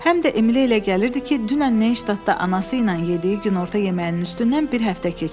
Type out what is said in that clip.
Həm də Emili elə gəlirdi ki, dünən Neynştadtda anası ilə yediyi günorta yeməyinin üstündən bir həftə keçib.